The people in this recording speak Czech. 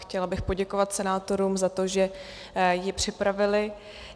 Chtěla bych poděkovat senátorům za to, že ji připravili.